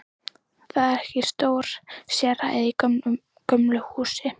Það er stór sérhæð í gömlu húsi.